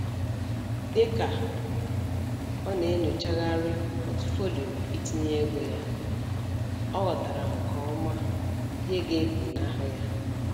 Dịka ọ na-enyochagharị pọtufolio itinye ego ya, ọ ghọtara nke ọma ihe ga-efunahu ya